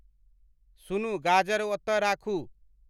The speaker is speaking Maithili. सुनु गाजर ओतय राखू